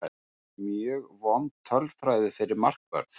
Mjög vond tölfræði fyrir markvörð.